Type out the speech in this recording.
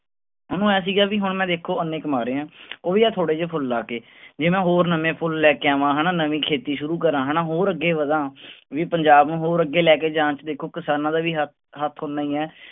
ਉਹਨੂੰ ਇਉਂ ਸੀਗਾ ਵੀ ਹੁਣ ਮੈਂ ਦੇਖੋ ਇੰਨੇ ਕਮਾ ਰਿਹਾਂ ਉਹ ਵੀ ਆਹ ਥੋੜ੍ਹੇ ਜਿਹੇ ਫੁੱਲ ਲਾ ਕੇ ਜੇ ਮੈਂ ਹੋਰ ਨਵੇਂ ਫੁੱਲ ਲੈ ਕੇ ਆਵਾਂ ਹਨਾ, ਨਵੀਂ ਖੇਤੀ ਸ਼ੁਰੂ ਕਰਾਂ ਹਨਾ ਹੋਰ ਅੱਗੇ ਵਧਾਂ ਵੀ ਪੰਜਾਬ ਨੂੰ ਹੋਰ ਅੱਗੇ ਲੈ ਕੇ ਜਾਣ ਚ ਦੇਖੋ ਕਿਸਾਨਾਂ ਦਾ ਵੀ ਹ ਹੱਥ ਓਨਾ ਹੀ ਹੈ।